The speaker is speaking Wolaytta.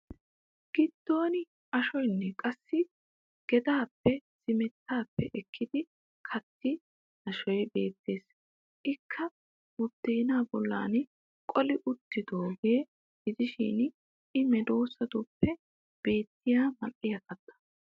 Giddon ashoyinne qassi gedaappe zimettaappe ekkidi kattidi ashoy beettes. Ikka buddeenaa bollan qoli wottidoogaa gidishin i medoossatuppe beettiya mal'iya katta.